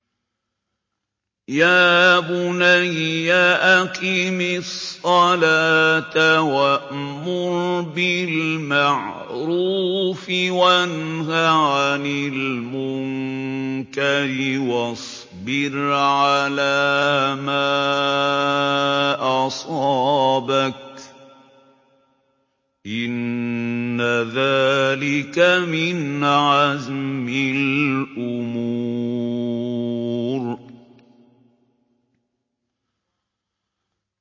يَا بُنَيَّ أَقِمِ الصَّلَاةَ وَأْمُرْ بِالْمَعْرُوفِ وَانْهَ عَنِ الْمُنكَرِ وَاصْبِرْ عَلَىٰ مَا أَصَابَكَ ۖ إِنَّ ذَٰلِكَ مِنْ عَزْمِ الْأُمُورِ